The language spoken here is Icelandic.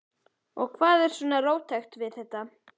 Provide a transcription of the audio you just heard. Og hvað er svona róttækt við þetta?